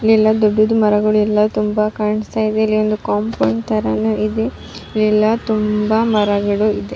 ಇಲ್ಲಿ ಎಲ್ಲ ದೊಡ್ಡದು ಮರಗಳು ಎಲ್ಲ ತುಂಬಾ ಕಾಣ್ಸ್ತಾ ಇದೆ ಇಲ್ಲಿ ಒಂದು ಕೋಂಪೌಂಡ್ ತರ ನೂ ಇದೆ ಇಲ್ಲಿ ಎಲ್ಲ ತುಂಬಾ ಮರ ಗಿಡ ಇದೆ.